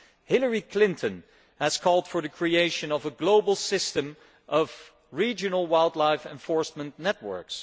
Hillary Clinton has called for the creation of a global system of regional wildlife enforcement networks.